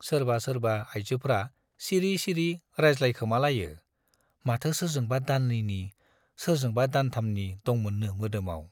सोरबा सोरबा आइजोफ्रा सिरि सिरि रायज्लायखोमालायो - माथो सोरजोंबा दाननैनि , सोरजोंबा दानथामनि दंमोननो मोदोमाव।